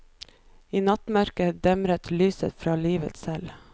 I nattemørket demret lyset fra livet selv.